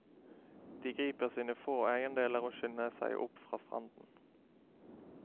De griper sine få eiendeler og skynder seg opp fra stranden.